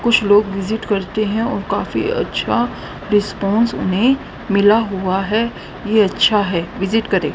कुछ लोग विजिट करते हैं और काफी अच्छा रिस्पांस उन्हें मिला हुआ है ये अच्छा है विजिट करें।